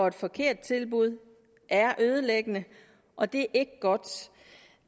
et forkert tilbud er ødelæggende og det er ikke godt